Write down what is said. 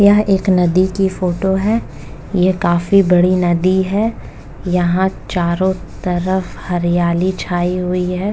यह एक नदी की फोटो है। यह काफी बड़ी नदी है। यहाँ चारों तरफ हरियाली छाई हुई है।